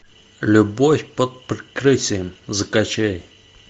любовь под прикрытием закачай